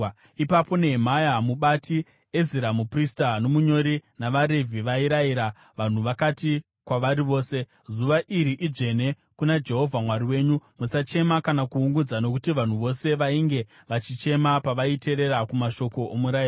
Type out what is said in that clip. Ipapo Nehemia mubati, Ezira, muprista nomunyori, navaRevhi vairayira vanhu vakati kwavari vose, “Zuva iri idzvene kuna Jehovha Mwari wenyu. Musachema kana kuungudza.” Nokuti vanhu vose vainge vachichema pavaiteerera kumashoko omurayiro.